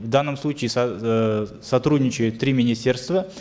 в данном случае э сотрудничают три министерства